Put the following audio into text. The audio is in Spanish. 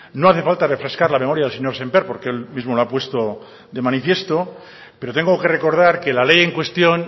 no hace falta refrescar la memoria del señor sémper porque él mismo lo ha puesto de manifiesto pero tengo que recordar que la ley en cuestión